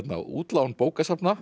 útlán bókasafna